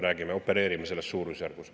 Me opereerime selles suurusjärgus.